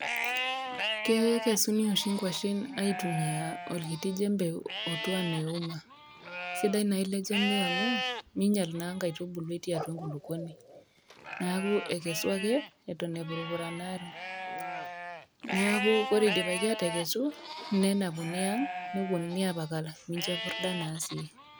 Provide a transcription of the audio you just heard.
Kekesuni oshi nkwashen aitumia olkiti jembe otiu ena euma. Sidai nai le jembe amu, minyal na nkaitubulu etii atua nkulukuoni. Neeku ekesu ake eton epurupuranaro. Neeku ore idipaki atekesu, nena puni ang',neponunui apakal mincho epurda na si.